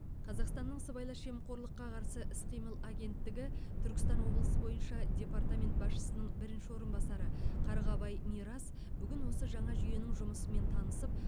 қазақстанның сыбайлас жемқорлыққа қарсы іс қимыл агенттігі түркістан облысы бойынша департамент басшысының бірінші орынбасары қарғабай мирас бүгін осы жаңа жүйенің жұмысымен танысып